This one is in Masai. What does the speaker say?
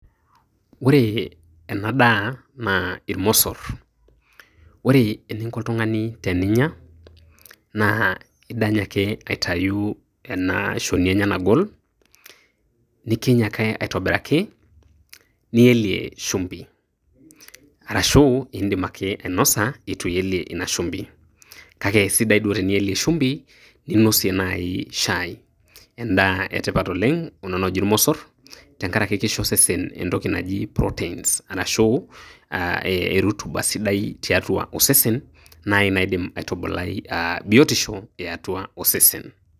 Ore ena daa naa ilmosor. Ore eninko oltungani teninya, naa idany ake aitayu ena shoni enye nagol, nikiny ake aitobiraki, nielie shumbi arashuu iidim ake ainosa itu iyeili ina shumbi kake sidai duo shumbi ninosie naayi shai endaa etipat oleng' kuna tokitin naaji ilmosor tenkaraki kisho osesen entoki naji proteins arashu erutuba sidai tiatua osesen naaji nadim aitubulai biotisho eetua osesen.